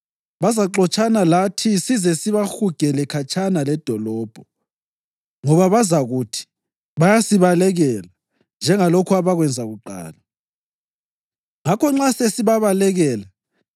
Bazaxotshana lathi size sibahugele khatshana ledolobho, ngoba bazakuthi, ‘Bayasibalekela njengalokhu abakwenza kuqala.’ Ngakho nxa sesibabalekela,